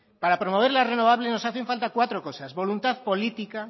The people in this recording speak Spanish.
para promover las renovables nos hacen falta cuatro cosas voluntad política